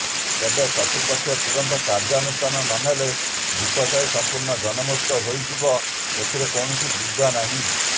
ତେବେ କର୍ତ୍ତୃପକ୍ଷ ତୁରନ୍ତ କାର୍ଯ୍ୟାନୁଷ୍ଠାନ ନନେଲେ ଢ଼ିପସାହି ସମ୍ପୂର୍ଣ୍ଣ ଜନ ମୁକ୍ତ ହୋଇନଜୀବ ଏଥିରେ କୌଣସି ଦ୍ବିଧା ନାହିଁ